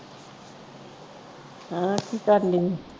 ਹਾਂ ਕੀ ਕਰਨ ਦੀ।